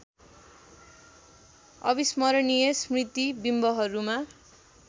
अविस्मरणीय स्मृति बिम्बहरूमा